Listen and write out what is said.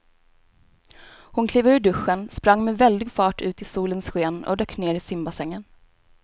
Hon klev ur duschen, sprang med väldig fart ut i solens sken och dök ner i simbassängen.